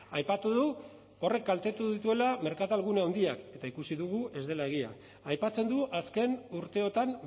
aipatu du horrek kaltetu dituela merkatalgune handiak eta ikusi dugu ez dela egia aipatzen du azken urteotan